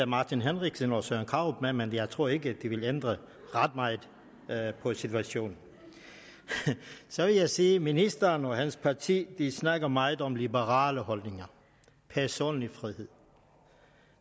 martin henriksen og herre søren krarup med men jeg tror ikke det vil ændre ret meget på situationen så vil jeg sige at ministeren og hans parti snakker meget om liberale holdninger og personlig frihed